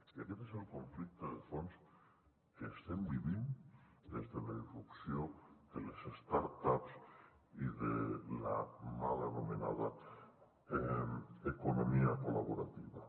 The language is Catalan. i aquest és el conflicte de fons que estem vivint des de la irrupció de les startups i de la mal anomenada economia col·laborativa